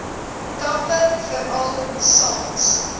kampe veral saans